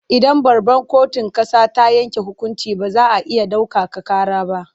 Idan babbar kotun ƙasa ta yanke hukunci ba za a iya ɗaukaka ƙara ba.